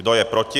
Kdo je proti?